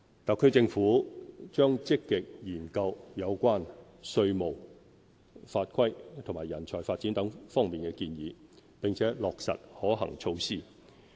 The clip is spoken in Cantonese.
特區政府將積極研究有關稅務、法規及人才發展等方面建議，並落實可行措施。